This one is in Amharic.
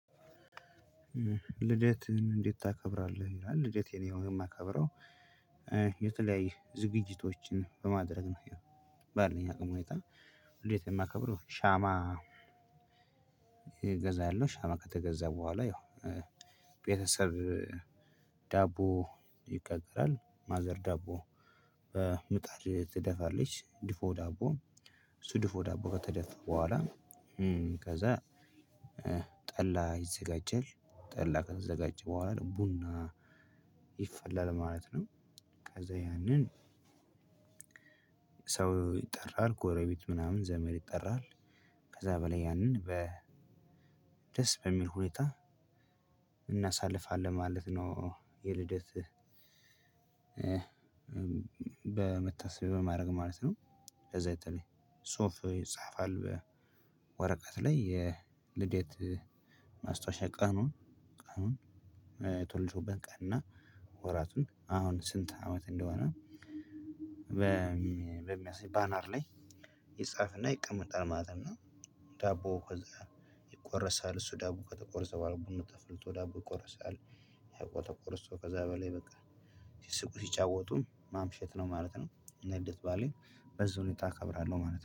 ልደትህን እንዴት ታከብራለህ? ይላል ልደቴ እኔ ነው የማከብረው። የተለያየ ዝግጅቶችን በማድረግ ነው። ያው ባለኝ አቅም ሁኔታ እንዴት ነው የማከብረው። ሻማ? እገዛለሁ ሻማ ከተገዛ በኋላ ያው ቤተሰብ ዳቦ ይጋገራል ማዘር ዳቦ ምጣድ ትደፋለች ድፎ ዳቦ እሱ ድፎ ዳቦ ከተደፋ በኋላ። ከዛ ጠላ ይዘጋጃል ጠላ ከተዘጋጅ በኋላ ቡና ይፈላል ማለት ነው። ከዛ ያንን ሰው ይጠራል ጎረቤት ምናምን ዘመድ ይጠራል። ከዛ በላይ ያንን በደስ በሚል ሁኔታ እናሳልፋለን ማለት ነው። የልደት በመታሰቢያ በማድረግ ማለት ነው። ከዛ በተለይ ጽሁፍ ይጻፋል በወረቀት ላይ የልደት ማስታወሻ ቀኑን ቀኑን የተወለድኩበት ቀንና ወራቱን አሁን ስንት አመት እንደሆነ። በ ባነር ላይ ይፃፍና ይቀመጣል ማለት ነው። እና ዳቦ ከዛ ይቆረሳል እሱ ዳቦ ከተቆረሰ በኋላ ቡና ተፈልቶ ዳቦ ይቆረሳል። ዳቦ ተቆርሶ ከዛ በላይ በቃ ሲስቁ ሲጫወቱ ማምሸት ነው ማለት ነው። እና የልደት በዓሌን በዚህ ሁኔታ አከብራለሁ ማለት ነው።